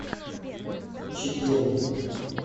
чегеме